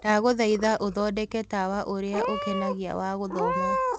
Ndagũthaĩtha ũthondeke tawa ũrĩa ukenagĩa wa gũthoma